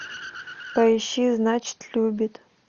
поищи значит любит